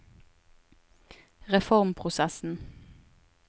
reformprosessen